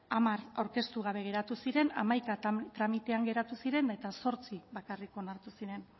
hamar aurkeztu gabe geratu ziren hamaika tramitean geratu ziren eta zortzi bakarrik onartu ziren